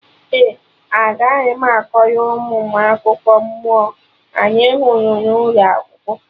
Ee, aga m akọrọ ụmụ m akụkọ mmụọ anyị hụrụ n'ụlọ akwụkwọ